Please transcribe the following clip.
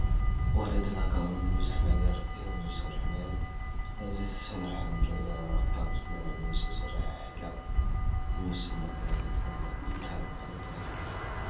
ወለድና ካብ እምኒ ብዙሕ ነገር እዮም ዝሰርሑ ነይሮም፡፡ እዚ ተሰይሩ ንሪኦ ዘለና ካብ ፅኑዕ እምኒ ዝተሰርሐ ሒላብ ዝመስል ነገር እዩ፡፡ ጥቕሙ እንታይ ምዃኑ ግን ኣይፈለጥኹን፡፡